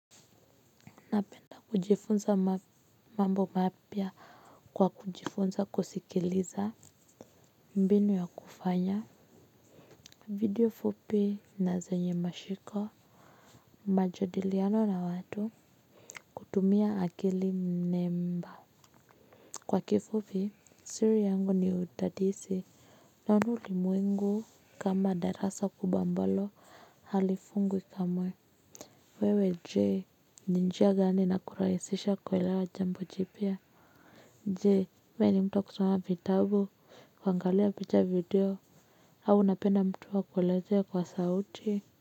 Napenda kujifunza mambo mapya kwa kujifunza kusikiliza. Mbinu ya kufanya video fupi na zenye mashiko. Majadiliano na watu kutumia akili nne mba. Kwa kifupi siri yangu ni udadisi na naona ulimwengu kama darasa kubwa ambalo halifungwi kamwe. Wewe je ni njia gani inakurahisisha kuelewa jambo jipya je we ni mtu wa kusoma vitabu kuangalia picha video au unapenda mtu akuelezee kwa sauti.